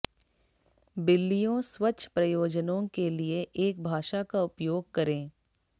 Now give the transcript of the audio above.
बिल्लियों स्वच्छ प्रयोजनों के लिए एक भाषा का उपयोग करें